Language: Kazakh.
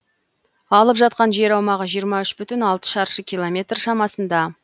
алып жатқан жер аумағы жиырма үш бүтін алты шаршы километр шамасында